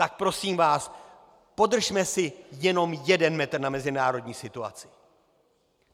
Tak prosím vás, podržme si jenom jeden metr na mezinárodní situaci.